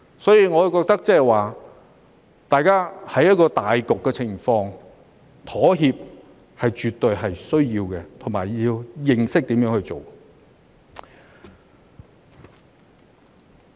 所以，我覺得大家在顧全大局的情況下，妥協是絕對需要的，也要懂得如何去做。